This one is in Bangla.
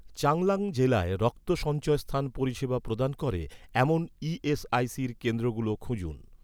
চাংলাং জেলায় রক্ত সঞ্চয়স্থান পরিষেবা প্রদান করে, এমন ই.এস.আই.সির কেন্দ্রগুলো খুঁজুন